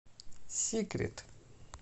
сикрет